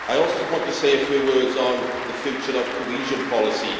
I also wanted to say a few words on the future of cohesion policy.